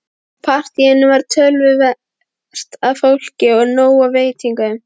Í partíinu var töluvert af fólki og nóg af veitingum.